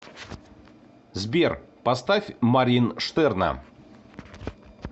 сбер поставь марьин штерна